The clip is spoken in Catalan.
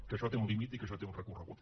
que això té un límit i que això té un recorregut